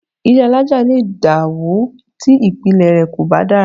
Ilé alájà lè dàwó tí ìpìlẹ̀ rẹ̀ kò bá dára